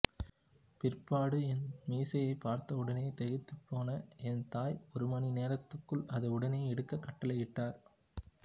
பிற்பாடு என் மீசையை பார்த்தவுடனே திகைத்துப் போன் என் தாய் ஒரு மணி நேரத்துக்குள் அதை உடனே எடுக்கக் கட்டளையிட்டார்